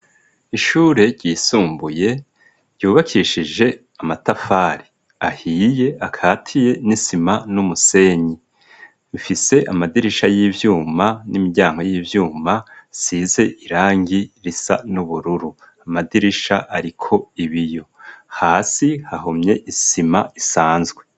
Ishure ryisumbuye ryubakishije amatafari ahiye akatiye n'isima n'umusenyi ifise amadirisha y'ibyuma n'imiyango y'ibyuma size irangi risa n'ubururu amadirisha ariko ibiyo hasi hahumye isima isanzwe.